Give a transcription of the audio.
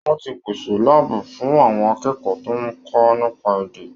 Wọ́n ti pèsè láàbù fún àwọn akẹ́kọ̀ọ́ tó ń kọ́ nípa èdè.